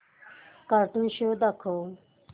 cartoon show दाखव